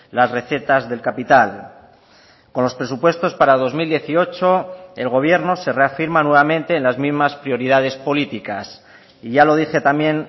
las recetas del capital con los presupuestos para dos mil dieciocho el gobierno se reafirma nuevamente en las mismas prioridades políticas y ya lo dije también